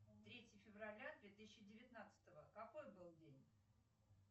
третье февраля две тысячи девятнадцатого какой был день